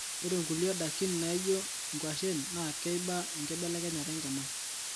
ore nkulie dakin nijo nkwashen na keiba enkibelekenyat enkima